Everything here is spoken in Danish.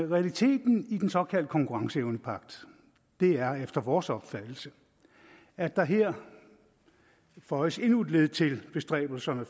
realiteten i den såkaldte konkurrenceevnepagt er efter vores opfattelse at der her føjes endnu et led til bestræbelserne